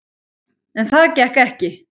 En það gekk ekki.